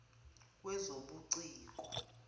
wezobuciko